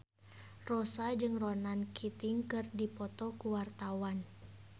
Rossa jeung Ronan Keating keur dipoto ku wartawan